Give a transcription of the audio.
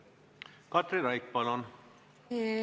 Katri Raik, palun!